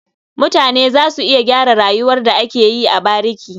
Mutane za su iya gyara rayuwar da ake yi a bariki.